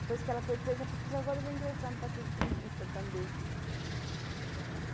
Depois que ela foi presa, eu pensei, agora eu vou ingressar no Partido Comunista também.